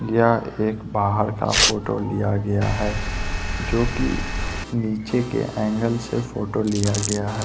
यह एक बाहर का फोटो लिया गया है जो कि नीचे के एंगल से फोटो लिया गया है।